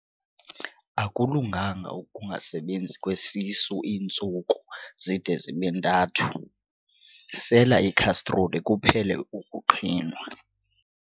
Akulunganga ukungasebenzi kwesisu iintsuku zide zibe ntathu, sela ikhastroli kuphele ukuqhinwa.